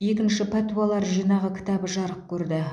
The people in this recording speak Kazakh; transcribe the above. екінші пәтуалар жинағы кітабы жарық көрді